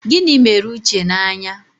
Gịnị mere Uche n'anya?